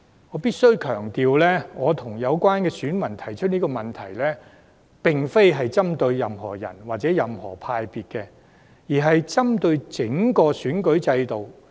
我必須強調，我與有關選民提出這個問題，並非針對個別候選人或黨派，而是針對整個選舉制度。